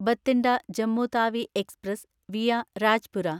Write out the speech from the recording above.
Bathinda Jammu Tawi express via Rajpura